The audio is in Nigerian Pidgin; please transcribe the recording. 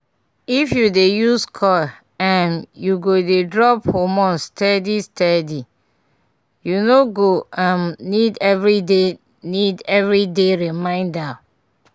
if you dey use coil um e go dey drop hormones steady steady -u no go um need everyday need everyday reminder pause small um